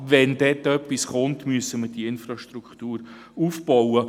Wenn dort etwas kommt, müssen wir die Infrastruktur aufbauen.